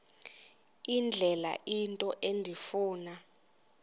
indlela into endifuna